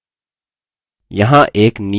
यहाँ एक नियत कार्य है